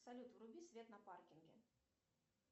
салют вруби свет на паркинге